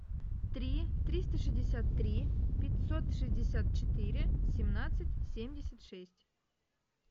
три триста шестьдесят три пятьсот шестьдесят четыре семнадцать семьдесят шесть